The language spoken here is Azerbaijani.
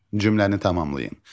Cümləni tamamlayın.